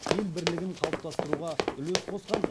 ел бірлігін қалыптастыруға үлес қосқан